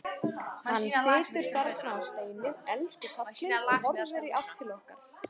Hann situr þarna á steini, elsku kallinn, og horfir í átt til okkar.